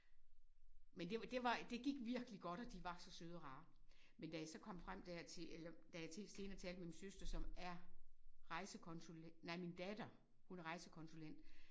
Men det var det var det gik virkelig godt og de var så søde og rare men da jeg så kom frem der til eller da jeg der senere talte med min søster som er rejsekonsulent nej min datter hun er rejsekonsulent